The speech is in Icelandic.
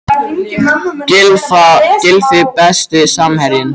Gylfi Besti samherjinn?